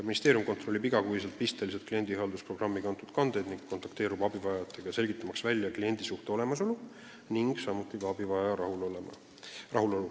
Ministeerium kontrollib iga kuu pisteliselt kliendihaldusprogrammi järgi kandeid ning kontakteerub abivajajatega, selgitamaks välja kliendisuhte olemasolu ning ka abivajaja rahulolu.